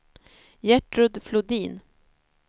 Gertrud Flodin